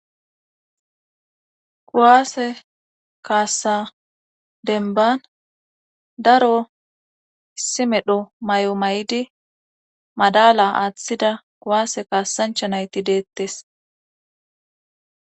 kuwaase kaassa denban daro issi medho may'o may'idi madala aaththida kuwaase kaasancha nayti deettes.